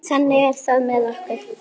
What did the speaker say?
Þannig er það með okkur.